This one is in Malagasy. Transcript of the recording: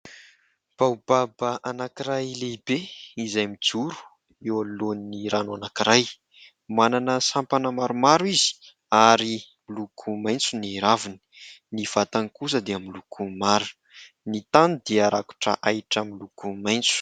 Baobab anankiray lehibe izay mijoro eo anoloan'ny rano ankaniray. Manana sampana maromaro izy ary miloko maitso ny raviny. Ny vatany kosa dia miloko mara. Ny tany dia rakotra ahitra miloko maitso.